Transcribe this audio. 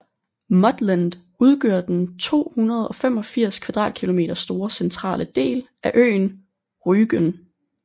Muttland udgør den 285 kvadratkilometer store centrale del af øen Rügen